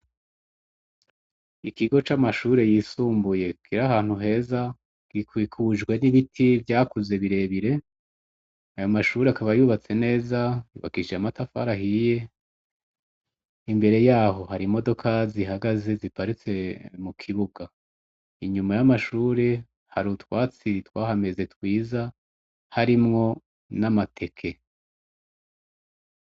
Ikigo c'amashure y'isumbuye kiri ahantu heza, gikikujwe n'ibiti vyakuze birebire, ayo mashure akaba yubatse neza, yubakishije amatafari ahiye, imbere yaho hari imodoka zihagaze ziparitse mu kibuga, inyuma y'amashure hari utwatsi twahameze twiza, harimwo n'amateke.